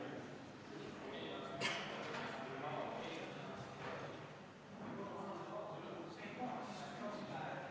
Meie riigiasutused on just nagu minetanud võime ise olukordi analüüsida, ise neid analüüse teha ja hinnanguid anda.